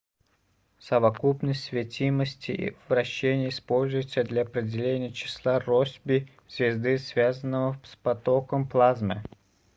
совокупность светимости и вращения используется для определения числа россби звезды связанного с потоком плазмы